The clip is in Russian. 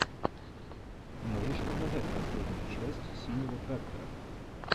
можешь показать последнюю часть синего трактора